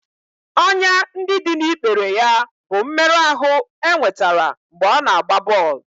Ọnyá ndị dị n'ikpere ya bụ mmerụ ahụ e nwetara mgbe ọ na-agba bọl